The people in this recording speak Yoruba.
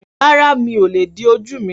Rárá, mí o lè di ojú mi